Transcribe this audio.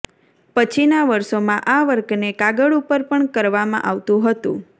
પછીના વર્ષોમાં આ વર્કને કાગળ ઉપર પણ કરાવામાં આવતું હતું